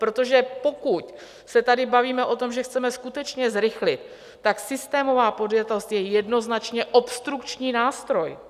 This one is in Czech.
Protože pokud se tady bavíme o tom, že chceme skutečně zrychlit, tak systémová podjatost je jednoznačně obstrukční nástroj.